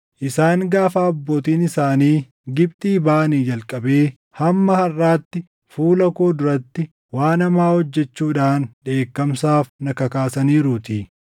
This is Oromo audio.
Isaan gaafa abbootiin isaanii Gibxii baʼanii jalqabee hamma harʼaatti fuula koo duratti waan hamaa hojjechuudhaan dheekkamsaaf na kakaasaniiruutii.”